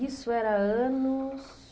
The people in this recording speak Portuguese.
Isso era anos?